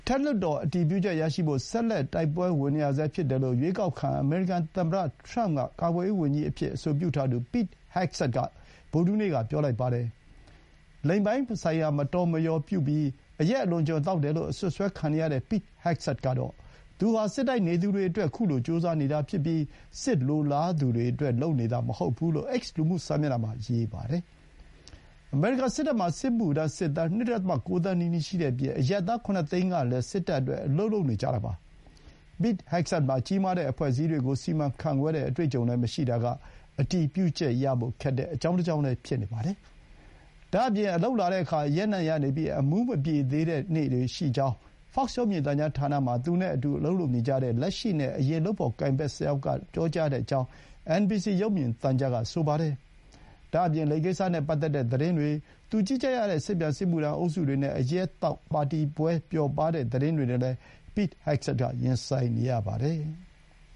ထက်လွှတ်တော် အတည်ပြုချက် ရရှိဖို့ ဆက်လက် တိုက်ပွဲဝင်နေရဆဲ ဖြစ်တယ်လို့ အရွေးကောက်ခံ သမ္မတ က ကာကွယ်ရေး ဝန်ကြီးအဖြစ် အဆိုပြုထားသူ Pete Hegseth က ဗုဒ္ဓဟူးနေ့က ပြောပါတယ်။ လိင်ပိုင်းဆိုင်ရာ မတော်မလျော်ပြုပြီး၊ အရက် အလွန်အကျွံ သောက်တယ်လို့ အစွပ်စွဲခံနေရတဲ့ Pete Hegseth ကတော့ သူဟာ စစ်တိုက်နေသူတွေအတွက် အခုလို ကြိုးစားနေတာဖြစ်ပြီး၊ စစ်လိုလားသူတွေအတွက် လုပ်နေတာ မဟုတ်ဘူး လို့ X လူမှုစာမျက်နှာမှာ ရေးပါတယ်။ အမေရိကန် စစ်တပ်မှာ စစ်မှုထမ်း စစ်သား ၂.၉ သန်းနီးနီး ရှိတဲ့အပြင် အရပ်သား ၇ သိန်းကလည်း စစ်တပ်အတွက် အလုပ်လုပ်နေကြတာပါ။ Pete Hegseth မှာ ကြီးမားတဲ့ အဖွဲ့အစည်းတွေကို စီမံခန့်ခွဲတဲ့ အတွေ့အကြုံလည်း မရှိတာက အတည်ပြုချက်ရဖို့ ခက်တဲ့ အကြောင်းတကြောင်းလည်း ဖြစ်နေပါတယ်။ ဒါ့အပြင် အလုပ်လာတဲ့အခါ အရက်နံ့ရနေပြီး အမူးမပြေသေးတဲ့ နေ့တွေရှိကြောင်း Fox ရုပ်မြင်သံကြားဌာနမှာ သူ့နဲ့ အတူ အလုပ်လုပ်နေကြတဲ့ လက်ရှိနဲ့ အရင် လုပ်ဖော်ကိုင်ဘက် ၁၀ ယောက်က ပြောကြောင်း အင်န်ဘီစီ ရုပ်မြင်သံကြားက ဆိုပါတယ်။ ဒါ့အပြင် လိင်ကိစ္စနဲ့ ပတ်သက်တဲ့ သတင်းတွေ၊ သူ ကြီးကြပ်ရတဲ့ စစ်ပြန်စစ်မှုထမ်း အုပ်စုတွေနဲ့ အရက်သောက် ပါတီပွဲ ပျော်ပါးတဲ့ သတင်းတွေနဲ့လည်း Pete Hegseth က ရင်ဆိုင်နေရပါတယ်။